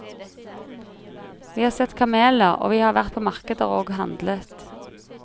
Vi har sett kameler, og vi har vært på markeder og handlet.